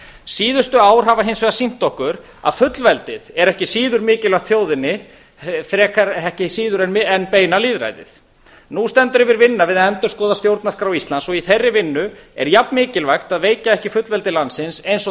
síðustu ár hafa hins vegar sýnt okkur að fullveldið er ekki síður mikilvægt þjóðinni frekar ekki síður en beina lýðræðið nú stendur yfir vinna við að endurskoða stjórnarskrá íslands í þeirri vinnu er jafn mikilvægt að veikja ekki fullveldi landsins eins og